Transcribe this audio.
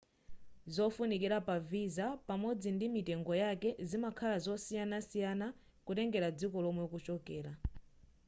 zofunikira pa visa pamodzi ndi mitengo yake zimakhala zosiyanasiyana kutengera dziko lomwe ukuchokera